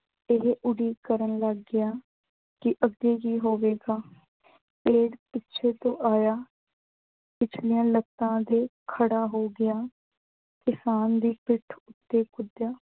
ਇਹ ਉਡੀਕ ਕਰਨ ਲੱਗ ਗਿਆ ਕਿ ਅੱਗੇ ਕੀ ਹੋਵੇਗਾ। ਪਿੱਛੇ ਤੋਂ ਆਇਆ ਪਿਛਲੀਆਂ ਲੱਤਾਂ ਤੇ ਖੜਾ ਹੋ ਗਿਆ। ਕਿਸਾਨ ਦੀ ਪਿੱਠ ਉੱਤੇ ਕੁੱਦਿਆ